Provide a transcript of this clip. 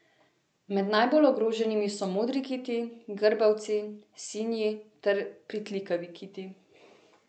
Med najbolj ogroženimi so modri kiti, grbavci, sinji ter pritlikavi kiti.